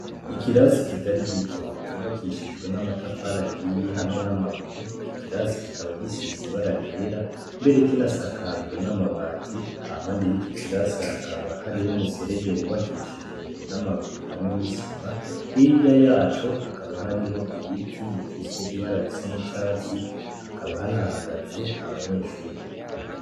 Ikirasi kitari gito cubakishijwe n'amatafari ahiye hamwe n'amabuye, iki kirasi kikaba gisize ibara ryera mbere kinasakajwe n'amabati, hampande y'iki kirasi hakaba hari umuserege wubakishijwe n'amabuye hamwe n'isima, hirya yaco hakaba hariho ibiti bifise ibara risa n'icatsi hakaba hanahagaze abanyeshure.